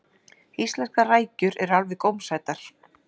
íslenskar rækjur eru alveg gómsætar